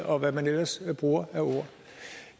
og hvad man ellers bruger af ord